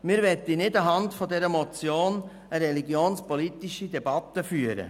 Wir möchten nicht anhand dieser Motion eine religionspolitische Debatte führen.